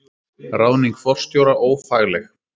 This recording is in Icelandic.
Ráðning forstjóra ófagleg